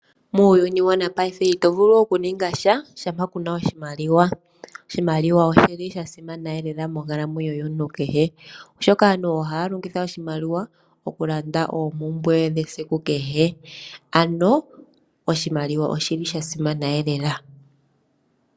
Muuyuni wopaife ito vulu okuninga sha shampa ku na oshimaliwa. Oshimaliwa oshi li sha simana lela monkalamwenyo yomuntu kehe, oshoka aantu ohaya longitha oshimaliwa okulanda oompumbwe dhawo dhesiku kehe. Ano oshimaliwa oshi li sha simana eelela.